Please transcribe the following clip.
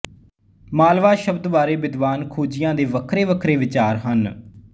ਮਾਲਵਾ ਸ਼ਬਦ ਬਾਰੇ ਵਿਦਵਾਨ ਖੋਜੀਆਂ ਦੇ ਵੱਖਰੇ ਵੱਖਰੇ ਵਿਚਾਰ ਹਨ